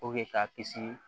ka kisi